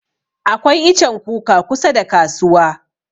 Akwai ichen kuka kusa da kasuwa.